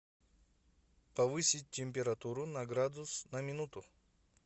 повысить температуру на градус на минуту